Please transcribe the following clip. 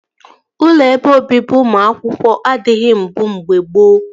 Ụlọ ebe obibi ụmụ akwụkwọ adịghị mbụ mgbe gboo